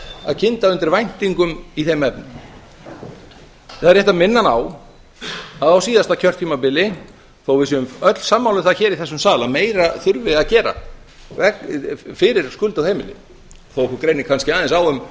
að kynda undir væntingum í þeim efnum það er rétt að minna hann á að á síðasta kjörtímabili þó að við séum öll sammála um það hér í þessum sal að meira þurfi að gera fyrir skuldug heimili þó að okkur greini kannski aðeins á um